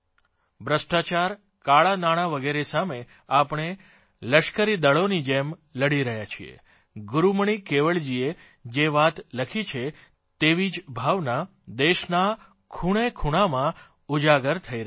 ભ્રષ્ટાચાર કાળાં નાણાં વગેરે સામે આપણે લશ્કરીદળોની જેમ લડી રહ્યાં છીએ ગૂરૂમણિ કેવળજીએ જે વાત લખી છે તેવી જ ભાવના દેશના ખૂણેખૂણામાં ઉજાગર થઇ રહી છે